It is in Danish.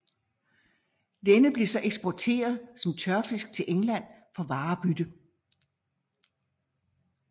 Denne blev så eksporteret som tørfisk til England for varebytte